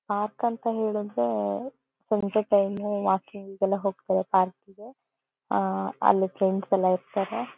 Park ಅಂತ ಹೇಳಿದ್ರೆ ಸಂಜೆ ಟೈಮು ವಾಕಿಂಗ್ ಗಿಗೆಲ್ಲಾ ಹೋಗ್ತಾರೆ ಪಾರ್ಕ್ ಗೆ. ಆಹ್ಹ್ ಅಲ್ಲಿ ಫ್ರೆಂಡ್ಸ್ ಎಲ್ಲಾ ಇರ್ತಾರೆ.